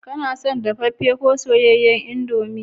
Kana son dafaffe ko soyayyen indomie?